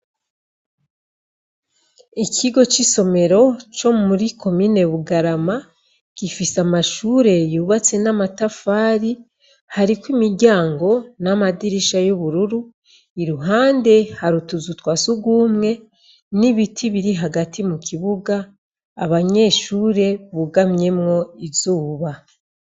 Ikigo c'isomero co muri komine bugarama gifise amashure yubatse n'amatafari hariko imiryango n'amadirisha y'ubururu i ruhande harutuzu twa sugumwe n'ibiti biri hagati mu kibuga abanyeshuri bugamyemwo izuba.